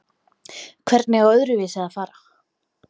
Hvernig á öðruvísi að fara?